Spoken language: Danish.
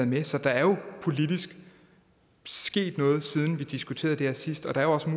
med så der er jo sket noget politisk siden vi diskuterede det her sidst og der er også